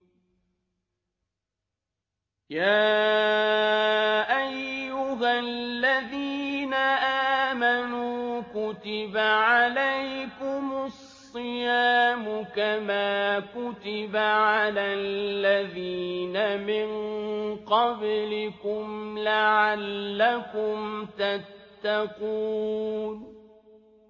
يَا أَيُّهَا الَّذِينَ آمَنُوا كُتِبَ عَلَيْكُمُ الصِّيَامُ كَمَا كُتِبَ عَلَى الَّذِينَ مِن قَبْلِكُمْ لَعَلَّكُمْ تَتَّقُونَ